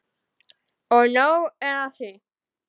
Og nóg er af því.